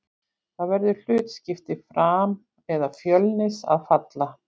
Það verður hlutskipti Fram eða Fjölnis að falla.